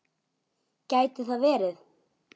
Gæti það verið?